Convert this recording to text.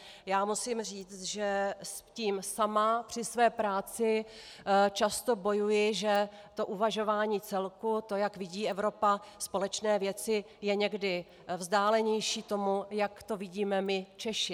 Já musím říct, že s tím sama při své práci často bojuji, že to uvažování celku, to, jak vidí Evropa společné věci, je někdy vzdálenější tomu, jak to vidíme my Češi.